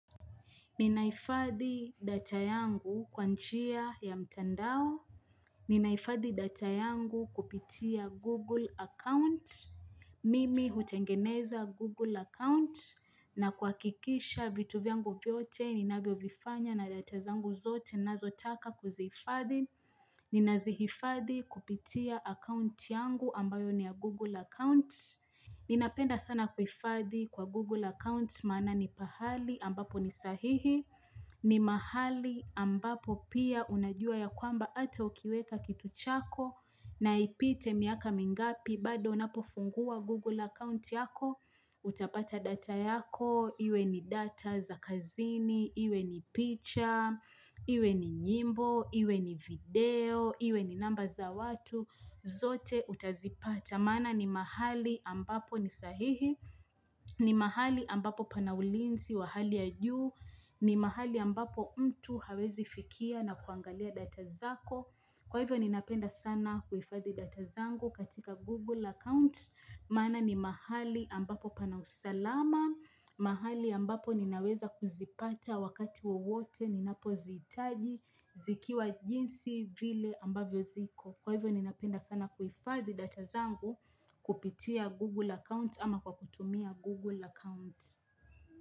Ninahifadhi data yangu kwa njia ya mtandao. Ninahifadhi data yangu kupitia Google account. Mimi hutengeneza Google account na kuhakikisha vitu vyangu vyote ninavyovifanya na data zangu zote ninazotaka kuzihifadhi. Ninazihifadhi kupitia account yangu ambayo ni ya Google account. Ninapenda sana kuhifadhi kwa Google account Maana ni pahali ambapo ni sahihi. Ni mahali ambapo pia unajua ya kwamba ata ukiweka kitu chako. Na ipite miaka mingapi bado unapofungua Google account yako. Utapata data yako iwe ni data za kazini, iwe ni picha, iwe ni nyimbo, iwe ni video, Iwe ni namba za watu. Zote utazipata maana ni mahali ambapo ni sahihi, ni mahali ambapo pana ulinzi wa hali ya juu, ni mahali ambapo mtu hawezi fikia na kuangalia data zako. Kwa hivyo ninapenda sana kuhifadhi data zangu katika Google account. Maana ni mahali ambapo pana usalama, mahali ambapo ninaweza kuzipata wakati wowote ninapozihitaji, zikiwa jinsi vile ambavyo ziko. Kwa hivyo ninapenda sana kuhifadhi data zangu. Kupitia Google account ama kwa kutumia Google account.